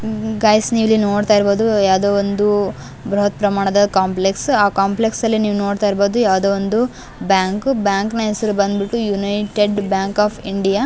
Guys ನೀವಿಲ್ಲಿ ನೋಡ್ತಾ ಇರ್ಬಹುದು ಯಾವದೋ ಒಂದು ಬೃಹತ್ ಪ್ರಮಾಣದ ಕಾಂಪ್ಲೆಕ್ಸ್ ಆ ಕಾಂಪ್ಲೆಕ್ಸ್ ಅಲ್ಲಿ ನೀವು ನೋಡ್ತಾ ಇರ್ಬಹುದು ಯಾವದೋ ಒಂದು ಬ್ಯಾಂಕ್ ಬ್ಯಾಂಕ್ ನ ಹೆಸರು ಬಂದು ಬಿಟ್ಟು ಯುನೈಟೆಡ್ ಬ್ಯಾಂಕ್ ಆಫ್ ಇಂಡಿಯಾ .